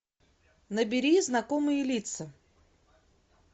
набери знакомые лица